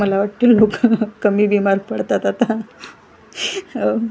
मला वाटतं लोकं कमी बिमार पडतात आता हो.